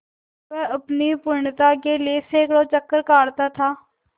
वह अपनी पूर्णता के लिए सैंकड़ों चक्कर काटता था